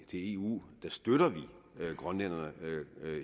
til eu støtter vi grønlænderne